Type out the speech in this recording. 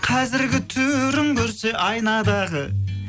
қазіргі түрін көрсе айнадағы